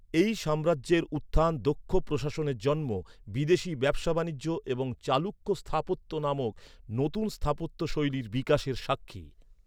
এই সাম্রাজ্যের উত্থান দক্ষ প্রশাসনের জন্ম, বিদেশী ব্যবসা বাণিজ্য এবং "চালুক্য স্থাপত্য" নামক নতুন স্থাপত্যশৈলীর বিকাশের সাক্ষী।